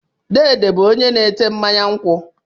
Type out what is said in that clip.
Dede bụ onye na-ata mmanya nkwụ.